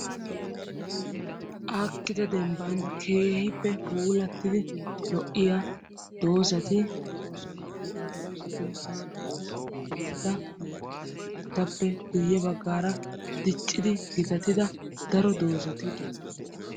aakida demban keehippe puulatidi lo'iy a dozati de'oosona. ha dozatu meraykka maata malatees. etappe guyeerakka qassi keehi diccida dozati de'oososna.